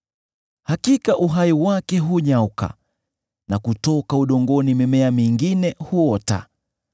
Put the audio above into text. Hakika uhai wake hunyauka, na kutoka udongoni mimea mingine huota.